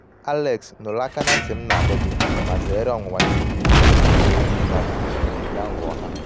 alex nụrụ aka na nti m na-adọ gị um ma zeere ọnwụnwa ndị mbinye ego na-eri mmadụ na onyinye aghụghọ ha.